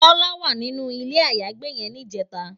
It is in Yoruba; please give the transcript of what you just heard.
Bola wá ninú ilé àyágbé yèn nijètá